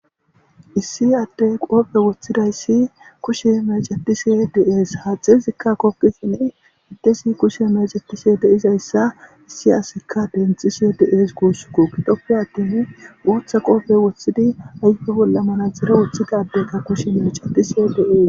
issi addey qoofe woththidayssi kushe mecetise deees haaxizikka kokkisin iddesi kushe mecetise deizayssa issi asikka denthise deees guussukko gitoppe attin wooththa qoofe woththidi ayfe bolla manazara wuthigadeyka kushe mecetise de7ees